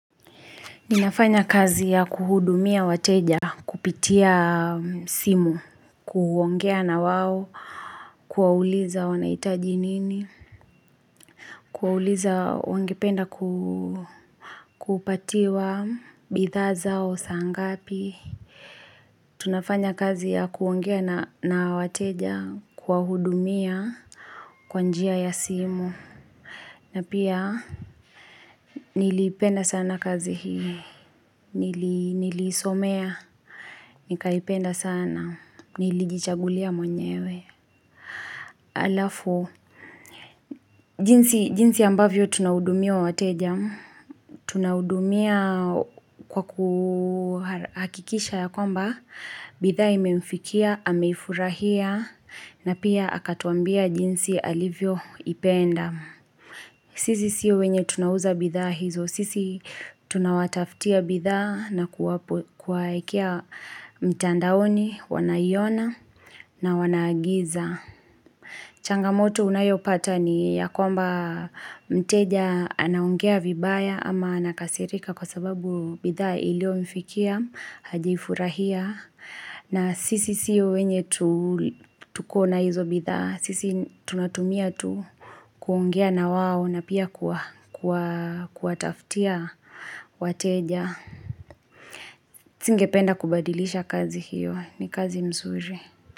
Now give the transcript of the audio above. Ninafanya kazi ya kuhudumia wateja kupitia simu, kuongea nao, kuwauliza wanahitaji nini, kuwauliza wangependa kupatiwa bidhaa zao saa ngapi tunafanya kazi ya kuongea na wateja, kuwahudumia kwa njia ya simu. Na pia niliipenda sana kazi hii, niliisomea, nikaipenda sana, nilijichagulia mwenyewe. Alafu, jinsi ambavyo tunahudumia wateja, tunahudumia kwa kuhakikisha ya kwamba, bidhaa imemfikia, ameifurahia, na pia akatuambia jinsi alivyoipenda. Sisi sio wenye tunauza bidhaa hizo. Sisi tunawatafutia bidhaa na kuwaekea mtandaoni wanaiona na wanaagiza. Changamoto unayopata ni ya kwamba mteja anaongea vibaya ama anakasirika kwa sababu bidhaa ilio mfikia hajaifurahia. Na sisi sio wenye tukona hizo bidhaa, sisi tunatumia tu kuongea nao na pia kuwatafutia wateja Singependa kubadilisha kazi hio, ni kazi mzuri.